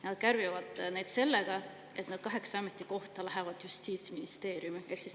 Ja nad kärbivad nii, et need kaheksa ametikohta lähevad Justiitsministeeriumi alla.